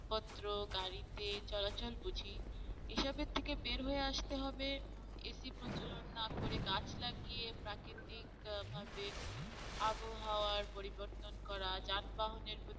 পত্র গাড়িতে চলাচল বুঝি এসবের থেকে বের হয়ে আস্তে হবে AC প্রচলন না করে গাছ লাগিয়ে তাকে ঠিক ভাবে আবহাওয়ার পরিবর্তন করা যানবাহনের